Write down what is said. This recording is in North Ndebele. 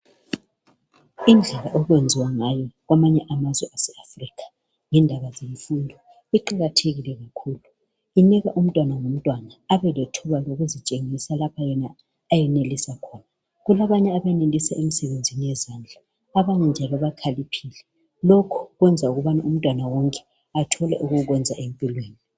Indlela okwenziwa ngayo kwamanye amazwe aseAfrica, ngendaba zemfundo, iqakathekile kakhulu. lnika umntwana ngomntwana abelethuba lokuzitshengisa lapha yena ayenelisa khona. Kulabanye abenelisa emsebenzini yezandla. Abanye njalo bakhaliphile. Lokhu kwenza umntwana wonke abelento yokwenza empilweni.